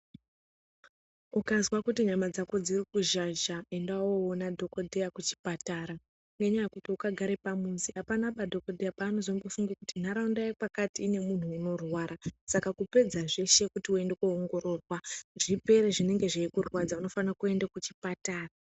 Ukazwa kuti nyama dzako dziri kuzhazha, enda woona dhogodheya kuchipatara. Ngenyaya yekuti ukagare pamuzi hapanaba dhokodheya paanozofunge kuti nharaunda yekwakati ine munhu unorwara. Saka kupedza zveshe kuti uende kuoongororwa zvipere zvinenge zveikurwadza unofanira kuende kuchipatara.